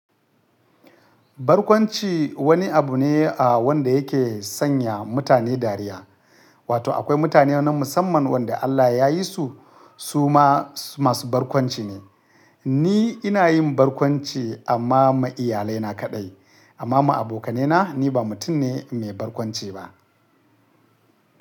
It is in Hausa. Barkwanci wani abu ne a wanda yake sanya mutane dariya, wato akwai mutane na musamman wanda Allah ya yi su, su ma masu barkwanci ne. Ni ina yin barkwanci amma ma iyalai na kaɗai, amma ma abokanai na ni ba mutum ne mai barkwanci ba.